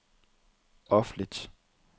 offentlig